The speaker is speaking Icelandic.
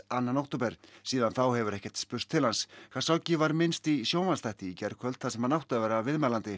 annan október síðan þá hefur ekkert spurst til hans var minnst í sjónvarpsþætti í gærkvöld þar sem hann átti að vera viðmælandi